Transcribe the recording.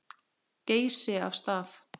Geysi af stað.